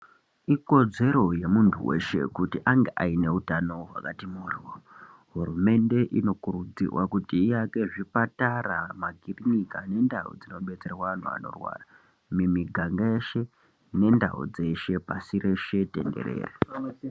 Ikodzero yemuntu weshe kuti ange aine utano hwakati mhoryo. Hurumende inokurudzirwa kuti iake zvipatara, makirinika nendau dzinobetserwa antu anorwara mumiganga yeshe, nendau dzeshe, pashi rese tenderere.